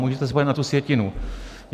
Můžete se podívat na tu sjetinu.